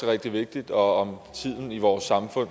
rigtig vigtigt og om tiden i vores samfund